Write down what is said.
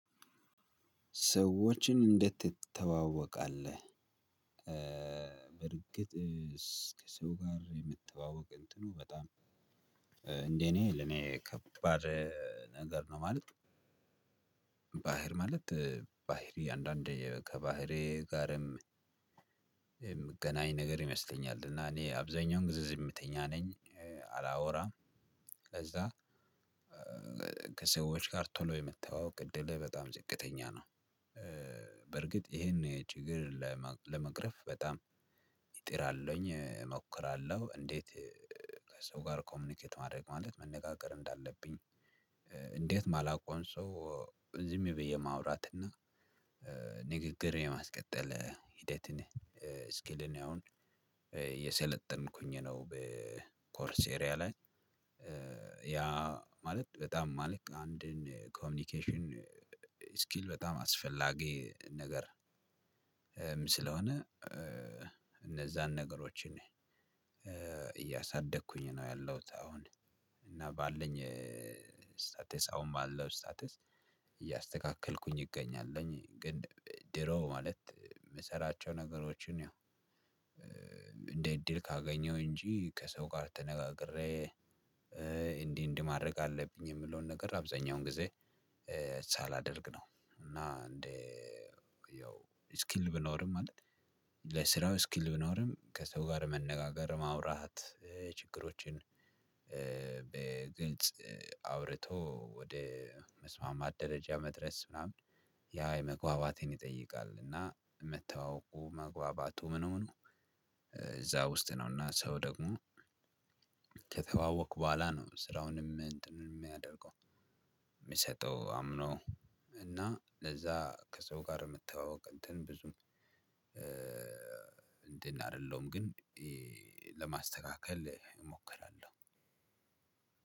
ሰዎችን እንዴት ትተዋወቃለህ? በእርግጥ ከሰው ጋር የመተዋወቅ እንትኑ በጣም እንዴ እኔ ለኔ ከባድ ነገር ነው። ማለት ባህሪ ማለት ባህሪ አንዳንድ ከባህሪዬ ጋርም የምገናኝ ነገር ይመስለኛል። እና እኔ አብዛኛውን ጊዜ ዝምተኛ ነኝ አላወራም። ከዛ ከሰዎች ጋር ቶሎ የመተዋወቅ እድሌ በጣም ዝቅተኛ ነው። በእርግጥ ይሄን ችግር ለመቅረፍ በጣም እጥራለሁኝ እሞክራለሁ እንዴት ከሰው ጋር ኮሙኒኬት ማድረግ ማለት መነጋገር እንዳለብኝ እንዴት የማላውቀውን ሰው ዝም ብዬ የማውራትና ንግግር የማስቀጠል ሂደትን እስኪልን አሁን እየሰለጠንኩኝ ነው። በኮርሴሪያ ላይ ያ ማለት በጣም ማለት አንድን ኮሙኒኬሽን እስኪል በጣም አስፈላጊ ነገርም ስለሆነ እነዛን ነገሮችን እያሳደግኩኝ ነው ያለሁት። አሁን እና ባለኝ እስታተስ አሁን ባለው እስታተስ እያተካከልኩኝ እገኛለሁኝ። ግን ድሮ ማለት የምሰራቸው ነገሮችን ያው እንደ እድል ካገኘው እንጂ ከሰው ጋር ተነጋግሬ እንዲህ እንዲህ ማድረግ አለብኝ የምለውን ነገር አብዛኛውን ጊዜ ሳላደርግ ነው። እና አንድ ያው እስኪል ቢኖርም ማለት ለስራው እስኪል ቢኖርም ከሰው ጋር መነጋገር ማውራት ችግሮችን በግልጽ አውርቶ ወደ መስማማት ደረጃ መድረስ ምናምን ያ የመግባባትን ይጠይቃል። እና መተዋወቁ መግባባቱ ምን ምኑ እዛ ውስጥ ነውና ሰው ደግሞ ከተዋወቅኩ በኋላ ነው። ስራውንም እንትን የሚያደርገው የሚሰጠው አምኖ እና ለዛ ከሰው ጋር የመተዋወቅ እንትን ብዙም እንትን አይደለሁም። ግን ለማስተካከል እሞክራለሁ።